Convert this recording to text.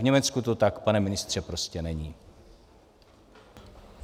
V Německu to tak, pane ministře, prostě není.